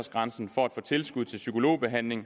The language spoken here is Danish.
egentlig